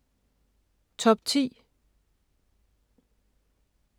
Top 10